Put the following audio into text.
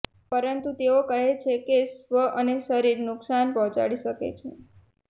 પરંતુ તેઓ કહે છે કે સ્વ અને શરીર નુકસાન પહોંચાડી શકે છે